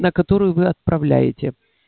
на которую вы отправляете